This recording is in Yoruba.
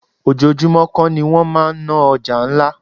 Ojoojúmó kó ni wọ́n máa ń ná ọjà ńlá.